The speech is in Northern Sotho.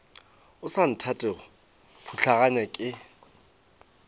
o sa nthatego putlaganya ke